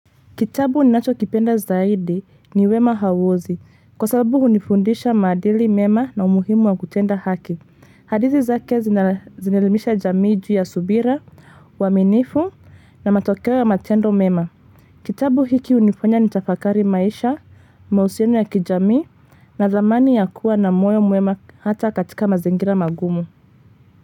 Kitabu ninacho kipenda zaidi ni wema hauozi kwa sababu hunifundisha maadili mema na umuhimu wa kutenda haki. Hadithi zake zinaelimisha jamii juuu ya subira, uaminifu na matokeo ya matendo mema. Kitabu hiki unifanya ni tafakari maisha, mahusiano ya kijamii na thamani ya kuwa na moyo mwema hata katika mazingira magumu.